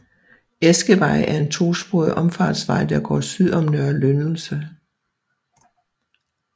Eskevej er en to sporet omfartsvej der går syd om Nørre Lyndelse